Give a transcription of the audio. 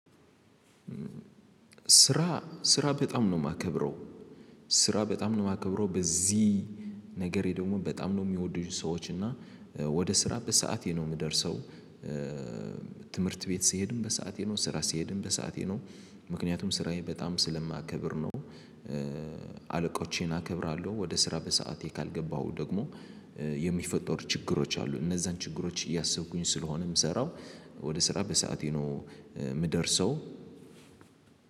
ስራ ስራ በጣም ነው የማከብረው ስራ በጣም ነው የማከብረው በዚህ ነገሬ ደግሞ በጣም ነው የሚወዱኝ ሰዎች እና ወደ ስራ በሰአቴ ነው የምደርሰው። ትምህርት ቤት ስሄድም በሰአቴ ነው ስራ ስሄድም በሰአቴ ነው ምክንያቱም ስራዬ በጣም ስለማከብር ነው። አለቆቼን አከብራለሁ ወደ ስራ በሰአቴ ካልገባሁ ደግሞ የሚፈጠሩ ችግሮች አሉ። እነዛን ችግሮች እያሰብኩኝ ስለሆነ የምሰራው ወደ ስራ በሰአቴ ነው የምደርሰው።